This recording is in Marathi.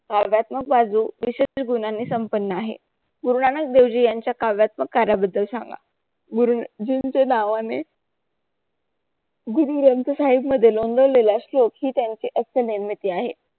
संपन्न आहे. गुरुनानक देवजी यांचा काव्यात्मक कार्याबद्दल सांगा गुरुजींचे डावाने गुरु ग्रंथ साहेब मध्ये लोंगर लीला श्लोक ही त्यांची आहे.